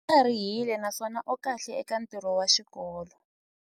U tlharihile naswona u kahle eka ntirho wa xikolo.